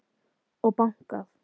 Og bankað.